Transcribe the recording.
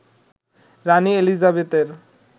রানি এলিজাবেথের